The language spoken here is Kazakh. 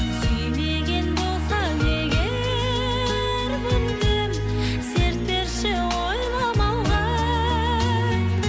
сүймеген болсаң егер мүмкін серт берші ойламауға